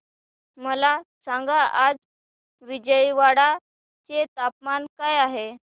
मला सांगा आज विजयवाडा चे तापमान काय आहे